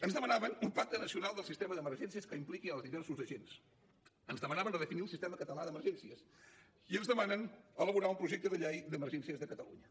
ens demanaven un pacte nacional del sistema d’emergències que impliqui els diversos agents ens demanaven redefinir el sistema català d’emergències i ens demanen elaborar un projecte de llei d’emergències de catalunya